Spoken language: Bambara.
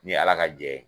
Ni ala ka jɛ ye